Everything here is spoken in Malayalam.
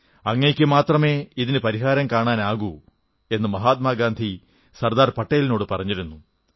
അങ്ങയ്ക്കു മാത്രമേ ഇതിനു പരിഹാരം കാണാനാകൂ എന്നു മഹാത്മാഗാന്ധി സർദാർ പട്ടേലിനോടു പറഞ്ഞിരുന്നു